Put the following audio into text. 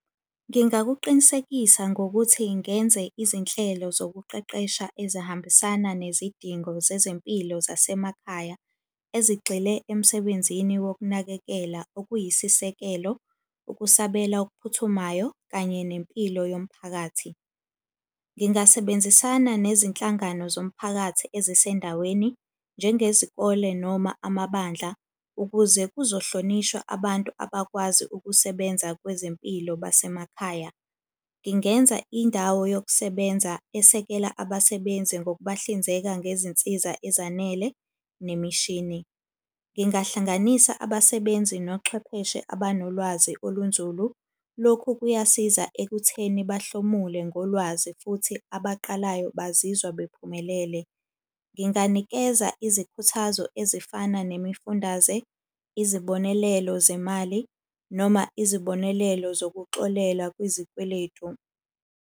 Ngingakuqinisekisa ngokuthi ngenze izinhlelo zokuqeqesha ezihambisana nezidingo zezempilo zasemakhaya ezigxile emsebenzini wokunakekela okuyisisekelo, ukusabela okuphuthumayo, kanye nempilo yomphakathi. Ngingasebenzisana nezinhlangano zomphakathi ezisendaweni, njengezikole noma amabandla ukuze kuzohlonishwa abantu abakwazi ukusebenza kwezempilo basemakhaya. Ngingenza indawo yokusebenza esekela abasebenzi ngokubahlinzeka ngezinsiza ezanele, nemishini. Ngingahlanganisa abasebenzi nochwepheshe abanolwazi olunzulu. Lokhu kuyasiza ekutheni bahlomule ngolwazi futhi abaqalayo bazizwa bephumelele. Nginganikeza izikhuthazo ezifana nemifundaze, izibonelelo zemali, noma izibonelelo zokuxolela kwizikweletu.